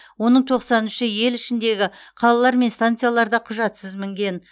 оның тоқсан үші ел ішіндегі қалалар мен станцияларда құжатсыз мінген